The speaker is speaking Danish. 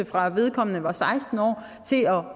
fra da vedkommende var seksten år til at